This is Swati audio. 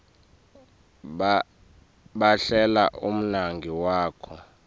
bhalela umngani wakho